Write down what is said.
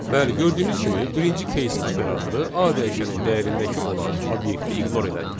Bəli, gördüyünüz kimi birinci case operatoru A dəyişənin dəyərindəki olan obyekti ignore elədi.